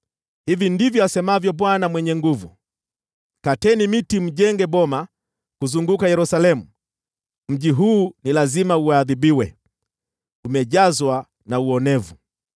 Hivi ndivyo asemavyo Bwana Mwenye Nguvu Zote: “Kateni miti mjenge boma kuzunguka Yerusalemu. Mji huu ni lazima uadhibiwe, umejazwa na uonevu.